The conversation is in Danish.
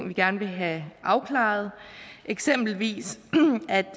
vi gerne vil have afklaret eksempelvis